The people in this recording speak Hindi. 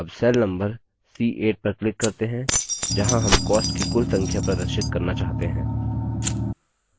अब cell number c8 पर click करते हैं जहाँ हम costs की कुल संख्या प्रदर्शित करना चाहते हैं